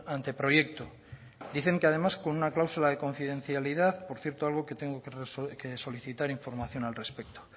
anteproyecto dicen que además con una cláusula de confidencialidad por cierto algo que tengo que solicitar información al respecto